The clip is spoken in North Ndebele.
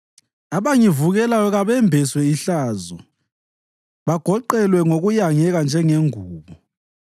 Abangivukelayo kabembeswe ihlazo bagoqelwe ngokuyangeka njengengubo.